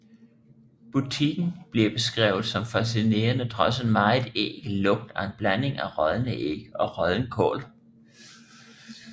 Butikken bliver beskrevet som fascinerende trods en meget ækel lugt af en blanding af rådne æg og rådden kål